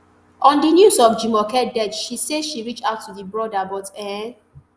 on di news of jumoke death she say she reach out to di brother but e